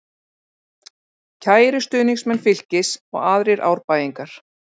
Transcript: Kæru stuðningsmenn Fylkis og aðrir Árbæingar.